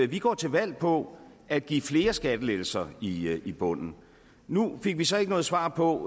vi går til valg på at give flere skattelettelser i i bunden nu fik vi så ikke noget svar på